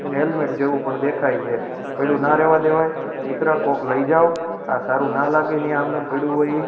અને હેલ્મેટ જેવુ પણ દેખાઈ છે પૈડુ ના રેવા દેવાઈ મિત્ર કોક લેઇ જાવ આ સારુ ના લાગે ની આમ નેમ પૈડુ હોઇ ઈ.